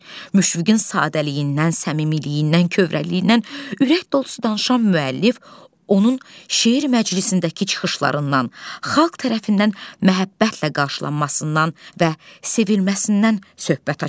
Müşfiqin sadəliyindən, səmimiliyindən, kövrəkliyindən ürək dolusu danışan müəllif onun şeir məclisindəki çıxışlarından, xalq tərəfindən məhəbbətlə qarşılanmasından və sevilməsindən söhbət açır.